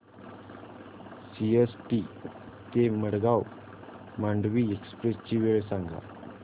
CST ते Madgaon Mandovi express ची वेळ सांगा